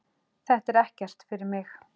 Þetta er ekkert fyrir mig.